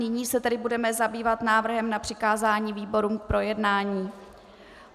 Nyní se tedy budeme zabývat návrhem na přikázání výborům k projednání.